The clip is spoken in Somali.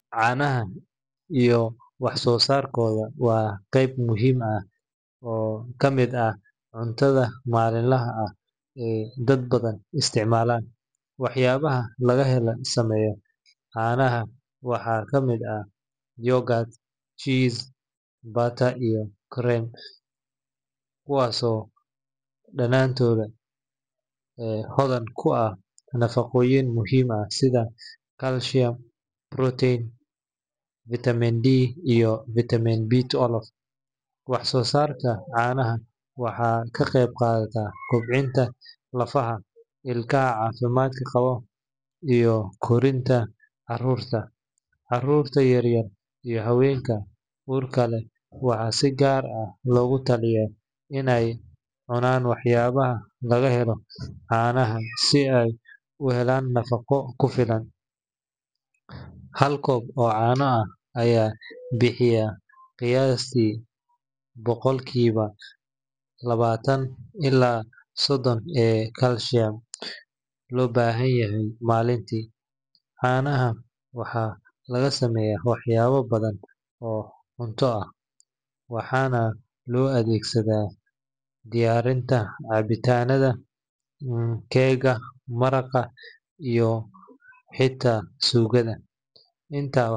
Caanaha iyo wax soo saarkooda waa qayb muhiim ah oo ka mid ah cuntada maalinlaha ah ee dad badan isticmaalaan. Waxyaabaha laga sameeyo caanaha waxaa ka mid ah yogurt, cheese, butter, iyo cream, kuwaasoo dhammaantood hodan ku ah nafaqooyin muhiim ah sida calcium, protein, vitamin D, iyo vitamin B12. Wax soo saarka caanaha waxay ka qayb qaataan kobcinta lafaha, ilka caafimaad qaba, iyo korriinka carruurta. Caruurta yaryar iyo haweenka uurka leh waxaa si gaar ah loogu taliyaa in ay cunaan waxyaabaha laga helo caanaha si ay u helaan nafaqo ku filan. Hal koob oo caano ah ayaa bixiya qiyaastii boqolkiiba labaatan ilaa sodon ee calcium loo baahan yahay maalintii. Caanaha waxaa laga sameeyaa waxyaabo badan oo cunto ah, waxaana loo adeegsadaa diyaarinta cabitaannada, keega, maraqa, iyo xitaa suugada. Intaa .